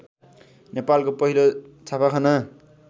नेपालको पहिलो छापाखाना